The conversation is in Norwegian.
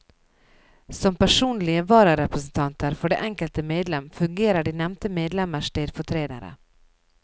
Som personlige vararepresentanter for det enkelte medlem fungerer de nevnte medlemmers stedfortredere.